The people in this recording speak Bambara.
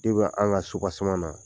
depi an ka sopaseman na